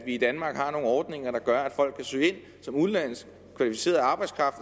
i danmark har nogle ordninger der gør at folk kan søge ind som udenlandsk kvalificeret arbejdskraft